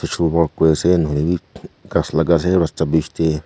Social work kure ase nohoilevi ghas lagai ase rasta bech dae.